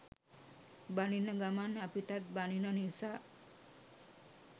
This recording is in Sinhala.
බනින ගමන් අපිටත් බනින නිසා